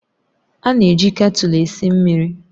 A na-eji ketulu esi mmiri